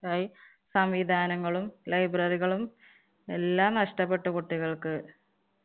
ന്നായി സംവിധാനങ്ങളും library കളും എല്ലാം നഷ്ടപ്പെട്ടു കുട്ടികള്‍ക്ക്.